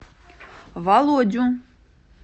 володю